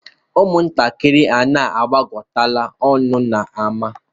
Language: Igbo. Ụmụntakịrị, unu agbakọtala ọnụ n'ámá!